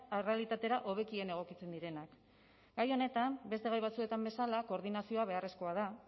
errealitatera hobekien egokitzen direnak gai honetan beste gai batzuetan bezala koordinazioa beharrezkoa da